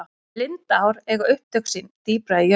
lindár eiga upptök sín dýpra í jörð